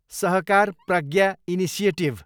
Sahakar Pragya initiative